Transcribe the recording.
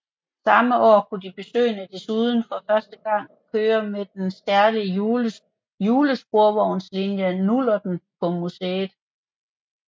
Samme år kunne de besøgende desuden for første gang køre med den særlige julesporvognslinje Nullerten på museet